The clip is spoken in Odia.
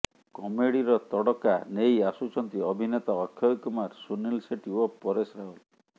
କମେଡିର ତଡ଼କା ନେଇ ଆସୁଛନ୍ତି ଅଭିନେତା ଅକ୍ଷୟ କୁମାର ସୁନିଲ ସେଟ୍ଟୀ ଓ ପରେଶ ରାୱଲ